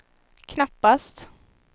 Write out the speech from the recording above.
knappast